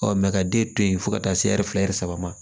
Ɔ ka den to yen fo ka taa se ɛri fila ɛri saba ma